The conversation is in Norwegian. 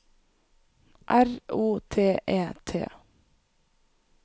R O T E T